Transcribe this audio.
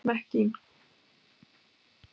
Mekkín